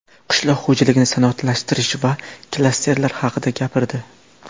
qishloq xo‘jaligini sanoatlashtirish va klasterlar haqida gapirdi.